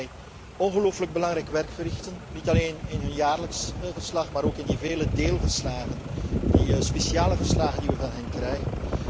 Ik denk dat zij ongelooflijk belangrijk werk verrichten, niet alleen in hun jaarlijks verslag, maar ook in de vele deelverslagen, de speciale verslagen, die wij van hen krijgen.